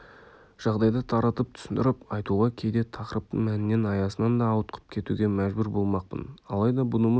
жағдайда таратып түсіндіріп айтуға кейде тақырыптың мәнінен аясынан да ауытқып кетуге мәжбүр болмақпын алайда бұнымыз